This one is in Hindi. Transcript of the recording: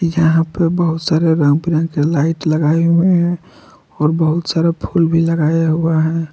यहां पे बहुत सारे रंग बिरंगे लाइट लगाए हुए हैं और बहुत सारा फूल भी लगाया हुआ है।